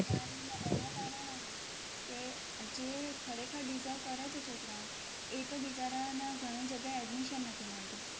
આ મોંઘવારીમાં એના કારણે કે જે ખરેખર deserve કરે છે, છોકરાઓ એ તો બિચારાને ઘણી જગ્યાએ admission નથી મળતું,